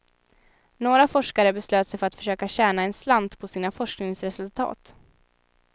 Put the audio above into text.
Några forskare beslöt sig för att försöka tjäna en slant på sina forskningsresultat.